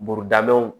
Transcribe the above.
Burudabon